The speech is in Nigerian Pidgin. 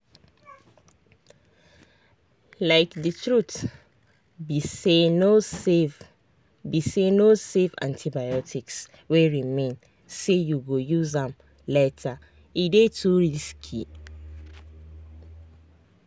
likethe truth be sayno save be sayno save antibiotics wey remain say you go use am latere dey too risky.